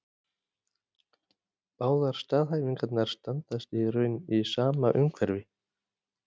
Báðar staðhæfingarnar standast í raun í sama umhverfi.